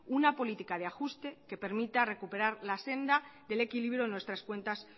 una política de ajuste que permita recuperar la senda del equilibrio en nuestras cuentas